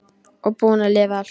Og búin að lifa allt.